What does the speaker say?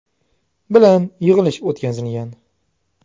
bilan yig‘ilish o‘tkazilgan.